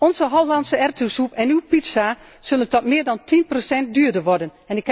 Onze Hollandse erwtensoep en uw pizza zullen tot meer dan 10 procent duurder worden.